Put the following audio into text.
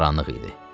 Qaranlıq idi.